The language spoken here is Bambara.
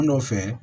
An nɔfɛ